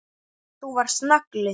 Þú varst nagli.